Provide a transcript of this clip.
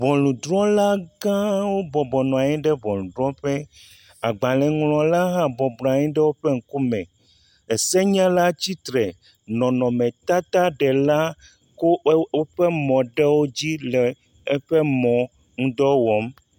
Ŋɔnudrɔ̃lagãwo bɔbɔ nɔ anyi ɖe ŋɔnudrɔ̃ƒe. Agbalẽŋlɔla hã nɔ anyi ɖe woƒe ŋkume. Esenyala tsitre, nɔnɔmetataɖela wo ɛ woƒe mɔ̃ ɖewo dzi le eƒe mɔ̃ ŋu dɔ wɔm.